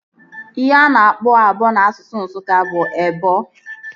Ihe a na-akpọ abụọ n'asụsụ Nsụka bụ ebọ